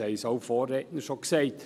Das haben schon Vorredner gesagt.